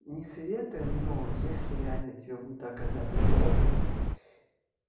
не советы но если реально тебя будет так когда-то гложить